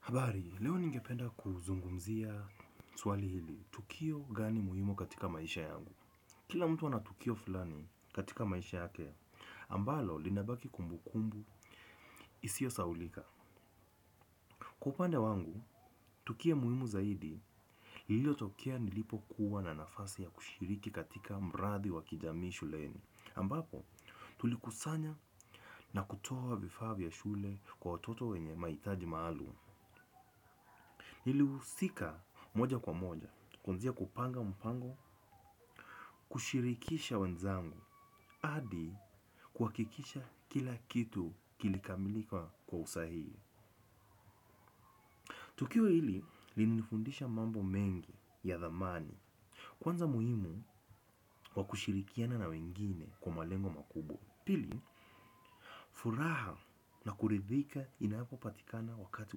Habari, leo ningependa kuzungumzia swali hili, tukio gani muhimu katika maisha yangu. Kila mtu ana tukio fulani katika maisha yake, ambalo linabaki kumbu kumbu, isyo sahaulika. Kiupande wangu, tukuo muhimu zaidi, ilio tokea nilipo kuwa na nafasi ya kushiriki katika mradi wakijamii shuleni. Ambapo tulikusanya na kutoa vifaa vya shule kwa watoyo wenye mahitaji maalum. Nilihusika moja kwa moja kuanzia kwenye kupanga mpango, kushirikisha wenzangu hadi kuhakikisha kila kitu kili kamilika kwa usahihi. Tukio hili lilinifundisha mambo mengi ya thamani. Kwanza muhimu kwa kushirikiana na wengine kwa malengo makubo. Pili, furaha na kuridhika inapo patikana wakati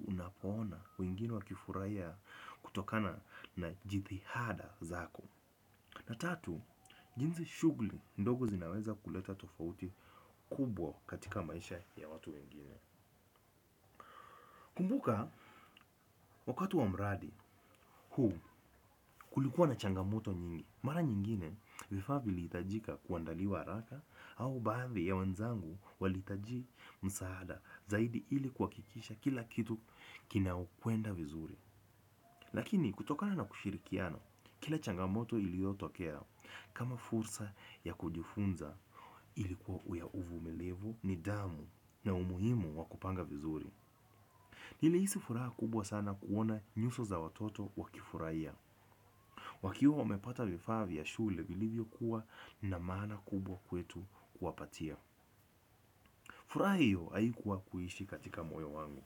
unapoona wengine wakifurahia kutokana na jithihada zako. Na tatu, jinsi shugli ndogo zinaweza kuleta tofauti kubwa katika maisha ya watu wengine. Kumbuka, wakati wa mradi huu kulikuwa na changamoto nyingi. Mara nyingine, vifaa vilihitajika kuandaliwa haraka au baadhi ya wenzangu walihitaji msaada zaidi ili kuhakikisha kila kitu kina kwenda vizuri. Lakini kutokana na kushirikiana, kila changamoto iliyo tokea kama fursa ya kujifunza ilikuwa ya uvumilivu nidamu na umuhimu wakupanga vizuri. Nilihisi furaha kubwa sana kuona nyuso za watoto wakifurahia. Wakiwa umepata vifavi ya shule viilivyo kuwa na maana kubwa kwetu kuwapatia. Furaha hiyo haikuwa kuishi katika moyo wangu.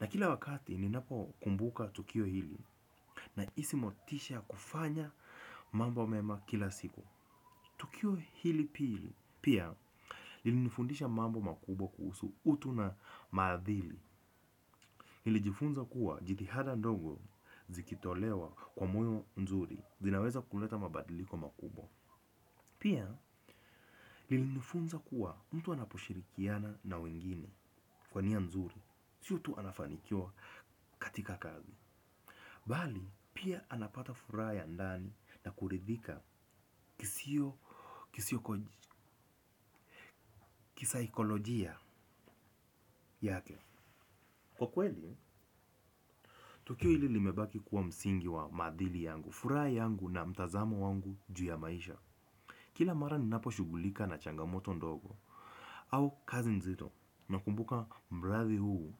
Na kila wakati ninapo kumbuka tukio hili na isi motisha kufanya mambo mema kila siku. Tukio hili pili pia lilinifundisha mambo makubwa kuhsu utu na madhili. Nilijifunza kuwa jithihada ndongo zikitolewa kwa muyo nzuri zinaweza kuleta mabadiliko makubwa. Pia lilinifunza kuwa mtu anaposhirikiana na wengine kwa nia nzuri sio tu anafanikwa katika kazi bali, pia anapata furaha ya ndani na kuridhika kisiyo kisaikolojia yake. Kwa kweli tukio hilo lime baki kuwa msingi wa maadhili yangu, furaha yangu na mtazamo wangu juu ya maisha. Kila mara ninapo shugulika na changamoto ndogo, au kazi nzito na kumbuka mradhi huu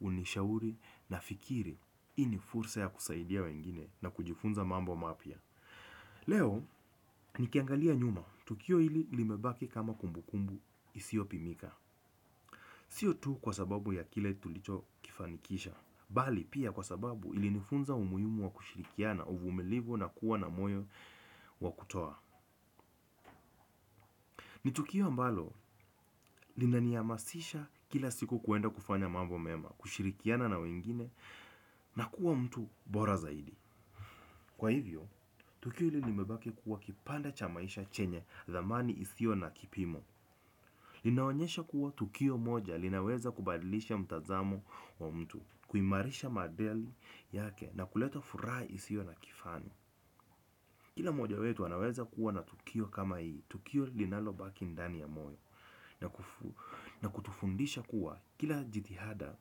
unishauri na fikiri hii ni fursa ya kusaidia wengine na kujifunza mambo mapya. Leo, ni kiangalia nyuma, tukio ili limebake kama kumbukumbu isio pimika. Sio tu kwa sababu ya kila tulicho kifanikisha bali pia kwa sababu ili nifunza umuhimu wa kushirikiana uvumilivi na kuwa na moyo wa kutoa. Ni tukio ambalo, linaniamasisha kila siku kuenda kufanya mambo mema, kushirikiana na wengine. Na kuwa mtu bora zaidi. Kwa hivyo, tukio hilo limebake kuwa kipanda cha maisha chenye dhamani isio na kipimo. Linaonyesha kuwa tukio moja linaweza kubadilisha mtazamo wa mtu. Kuimarisha madeli yake na kuleto furaha isio na kifani. Kila moja wetu anaweza kuwa na tukio kama hii. Tukio linalo baki ndani ya moyo na kutufundisha kuwa kila jithihada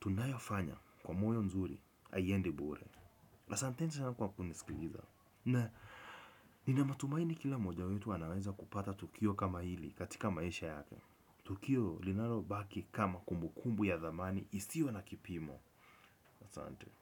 tunayofanya kwa moyo nzuri haiendi bure. Asanteni kwa kunisikiliza. Na nina matumaini kila moja wetu wanaweza kupata tukio kama hili katika maisha yake. Tukio linalo baki kama kumbukumbu ya dhamani isiyo na kipimo. Asante.